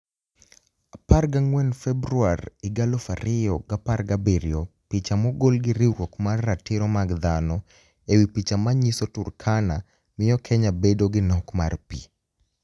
14 Februar 2017 Picha mogol gi riwruok mar ratiro mag dhano e wi picha ma niyiso Turkania miyo Keniya bedo gi nok mar pi.